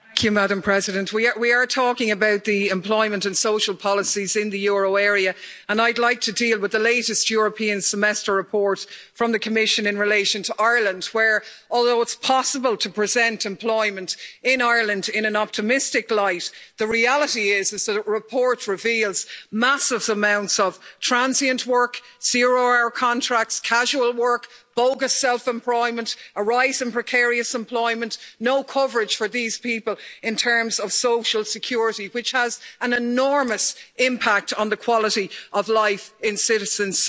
Madam President, we are talking about the employment and social policies in the euro area, and I'd like to deal with the latest European Semester report from the Commission in relation to Ireland, where, although it's possible to present employment in Ireland in an optimistic light, the reality is, as the report reveals, massive amounts of transient work, zero hour contracts, casual work, bogus self employment, a rise in precarious employment no coverage for these people in terms of social security, which has an enormous impact on the quality of life in citizens.